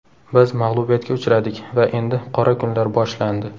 Biz mag‘lubiyatga uchradik va endi qora kunlar boshlandi.